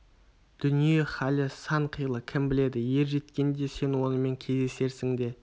дүние халі сан қилы кім біледі ер жеткенде сен онымен кездесерсің де